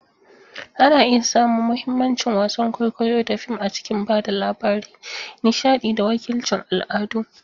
Ana iya samun mahimmancin wasan kwaikwayo da fim a cikin ba da labari, nishaɗi, da wakilcin al'adu.